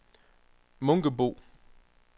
Munkebo